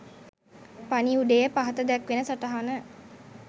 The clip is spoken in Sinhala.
පණිවුඩයේ පහත දැක්වෙන සටහන